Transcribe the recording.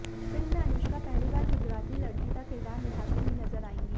film में अनुष्का पहली बार गुजराती लड़की का किरदार निभाती हुई नजर आएंगी